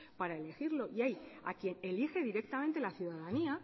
para elegirlo y hay a quien elige directamente la ciudadanía